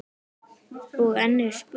Og enn er spurt.